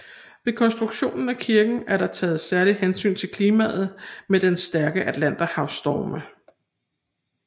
Ved konstruktionen af kirken er der taget særligt hensyn til klimaet med dets stærke Atlanterhavsstorme